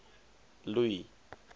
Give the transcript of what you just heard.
louis